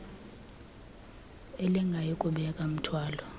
elingayi kubeka mthwalo